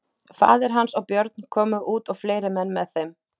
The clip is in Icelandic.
Faðir hans og Björn komu út og fleiri menn með þeim.